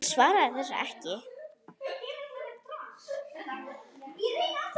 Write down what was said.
Hann svaraði þessu ekki.